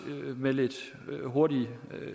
med lidt hurtig